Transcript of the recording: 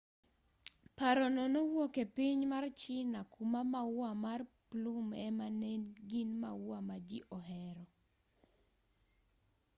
paro no nowuok e piny mar china kuma maua mar plum ema ne gin maua ma ji ohero